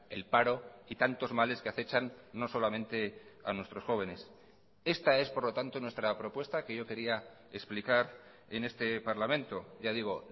el paro y tantos males que acechan no solamente a nuestros jóvenes esta es por lo tanto nuestra propuesta que yo quería explicar en este parlamento ya digo